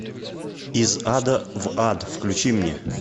из ада в ад включи мне